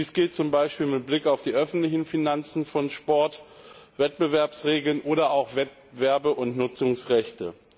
Dies gilt zum Beispiel mit Blick auf die öffentlichen Finanzen von Sport, Wettbewerbsregeln oder auch Wettbewerbe und Nutzungsrechte.